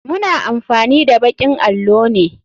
Muna amfani da bakin allo ne.